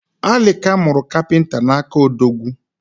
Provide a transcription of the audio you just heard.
Alika muru kapinta n’aka Odogwu